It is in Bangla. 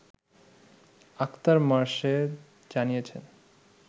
আক্তার মোর্শেদ জানিয়েছেন